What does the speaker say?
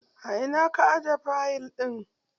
A ina ka aje fayil ɗin?